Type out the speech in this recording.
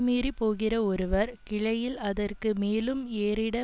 மீறிப் போகிற ஒருவர் கிளையில் அதற்கு மேலும் ஏறிட